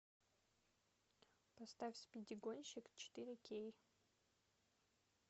поставь спиди гонщик четыре кей